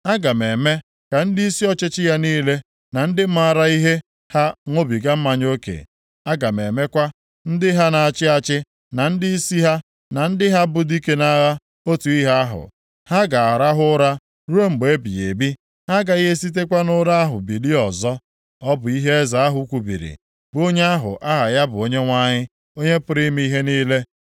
Aga m eme ka ndịisi ọchịchị ya niile, na ndị maara ihe ha ṅụbiga mmanya oke; aga m emekwa ndị ha na-achị achị, na ndịisi ha, na ndị ha bụ dike nʼagha otu ihe ahụ. Ha ga-arahụ ụra ruo mgbe ebighị ebi. Ha agaghị esitekwa nʼụra ahụ bilie ọzọ.” Ọ bụ ihe Eze ahụ kwubiri, bụ onye ahụ aha ya bụ Onyenwe anyị, Onye pụrụ ime ihe niile.